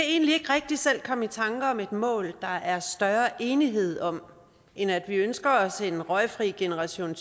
egentlig ikke rigtig selv komme i tanke om et mål der er større enighed om end at vi ønsker os en røgfri generation